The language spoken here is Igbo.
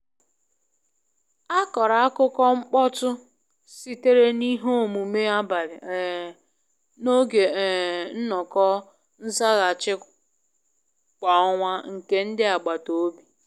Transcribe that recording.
A kọrọ akukọ mkpọtụ sitere n’ihe omume abalị um n’oge um nnọkọ nzaghachi kwa ọnwa nke ndi agbata obi.